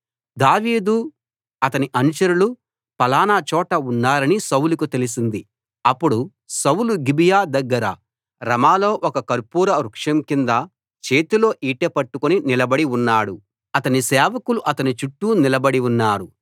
దావీదు అతని అనుచరులు ఫలానా చోట ఉన్నారని సౌలుకు తెలిసింది అప్పుడు సౌలు గిబియా దగ్గర రమాలో ఒక కర్పూర వృక్షం కింద చేతిలో ఈటె పట్టుకుని నిలబడి ఉన్నాడు అతని సేవకులు అతని చుట్టూ నిలబడి ఉన్నారు